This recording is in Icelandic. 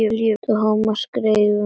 Thomas skreið yfir móann.